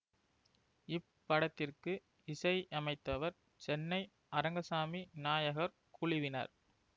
இப்படத்திற்கு இசையமைத்தவர் சென்னை அரங்கசாமி நாயகர் குழுவினர்